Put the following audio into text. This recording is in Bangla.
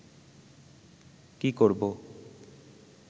কী করবো